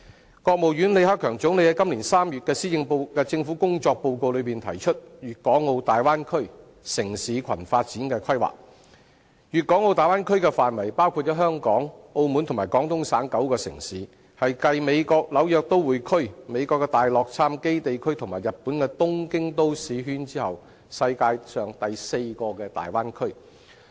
中國國務院總理李克強於今年3月的政府工作報告中提出粵港澳大灣區城市群發展規劃，粵港澳大灣區的範圍包括香港、澳門和廣東省9個城市，是繼美國紐約都會區、美國大洛杉磯地區和日本東京都市圈後，世界上第四個大灣區。